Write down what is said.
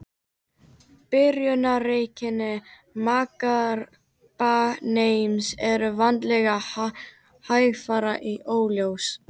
Byrjunareinkenni magakrabbameins eru vanalega hægfara og óljós.